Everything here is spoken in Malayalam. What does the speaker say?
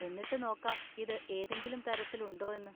എന്നിട്ട് നോക്കാം ഇത് ഏതെങ്കിലും തരത്തിൽ ഉണ്ടോ എന്ന്.